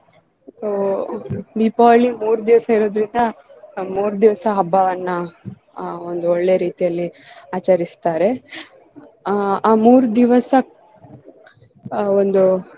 So Deepavali ಮೂರ್ ದಿವಸ ಇರುದ್ರಿಂದ ಮೂರ್ ದಿವಸ ಹಬ್ಬವನ್ನ ಆಹ್ ಒಂದ್ ಒಳ್ಳೆ ರೀತಿಯಲ್ಲಿ ಆಚರಿಸ್ತಾರೆ. ಆ ಮೂರ್ ದಿವಸ ಆಹ್ ಒಂದು